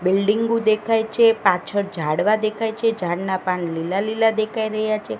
બિલ્ડિંગો દેખાય છે પાછળ ઝાડવા દેખાય છે ઝાડના પાન લીલા લીલા દેખાય રહ્યા છે.